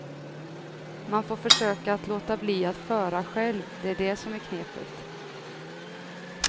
Man får försöka att låta bli att föra själv, det är det som är knepet.